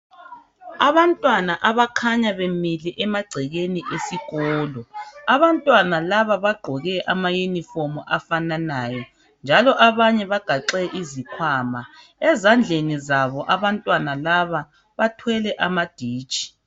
Abantwana abakhanya bemile emagcekeni esikolo, abantwana laba bagqoke amayunifomu afananayo njalo abanye bagaxe izikhwama ezandleni zabo abantwana laba bathwele amaditshi